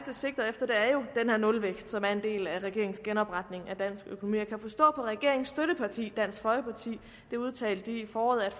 sigter efter er jo den her nulvækst som er en del af regeringens genopretning af dansk økonomi jeg kan forstå på regeringens støtteparti dansk folkeparti det udtalte de i foråret at